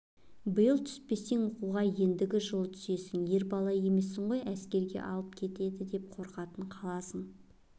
биыл түспесең оқуға ендігі жылы түсесің ер бала емессің ғой әскерге алып кетеді деп қорқатын қаласаң